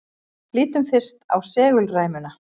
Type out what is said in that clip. Lítum fyrst á segulræmuna.